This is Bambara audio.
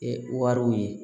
E wariw ye